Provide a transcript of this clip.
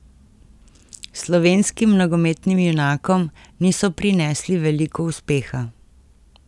Slovenskim nogometnim junakom niso prinesli veliko uspeha.